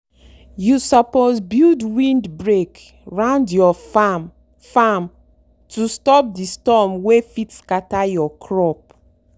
you suppose build windbreak round your farm farm to stop the storm wey fit scatter your crop.